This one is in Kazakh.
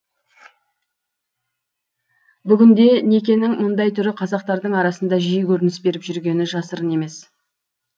бүгінде некенің мұндай түрі қазақтардың арасында жиі көрініс беріп жүргені жасырын емес